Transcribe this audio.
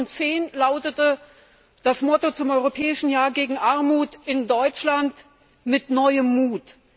2010 lautete das Motto zum Europäischen Jahr gegen Armut in Deutschland Mit neuem Mut.